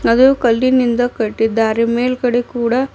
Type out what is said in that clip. ಅದು ಕಲ್ಲಿನಿಂದ ಕಟ್ಟಿದ್ದಾರೆ ಮೇಲ್ಗಡೆ ಕೂಡ --